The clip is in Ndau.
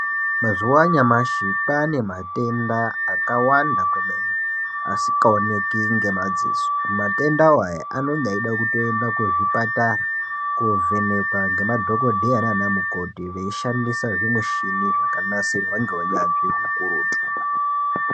Mazuva anyamashi kwane matenda akawanda asingaonekwi matenda awa kuzvipatara kovhenekwa nemadhokodheya nana mukoti veishandisa zvimushini zvakanasirwa neunyanzvi ukurutu.